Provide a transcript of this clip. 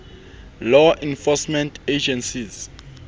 law enforcement agencies